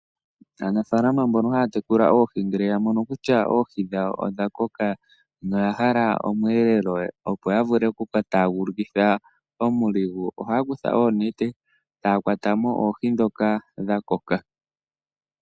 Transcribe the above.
Aanafalama mbono haya tekula oohi ngele ya mono kutya oohi dhawo odha koka nohaya hala omweelelo, opo ya vule okuka taagulukitha oshama. Ohaya kutha oonete taya kwata mo oohi ndhoka dha koka.